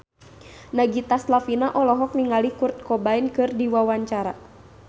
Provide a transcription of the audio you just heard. Nagita Slavina olohok ningali Kurt Cobain keur diwawancara